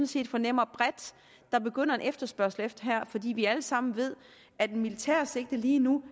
set fornemmer bredt der begynder en efterspørgsel efter her fordi vi alle sammen ved at et militært sigte lige nu